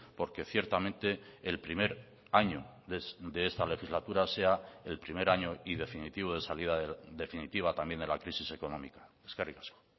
porque ciertamente el primer año de esta legislatura sea el primer año y definitivo de salida definitiva también de la crisis económica eskerrik asko